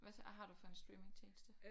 Hvad så har du for en streamingtjeneste